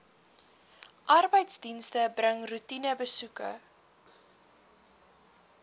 arbeidsdienste bring roetinebesoeke